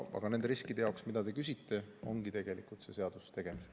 Aga nende riskide jaoks, mille kohta te küsite, ongi tegelikult see seadus tegemisel.